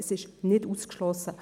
Es ist nicht ausgeschlossen.